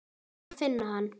Ég varð að finna hann.